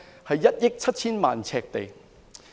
是1億 7,000 萬平方呎。